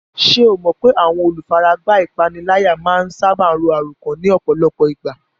Ṣé o mọ̀ pé àwọn olùfaragbá ìpániláyà máa ń sáábà ro àròkán ní ọ̀pọ̀lọpọ̀ ìgbà?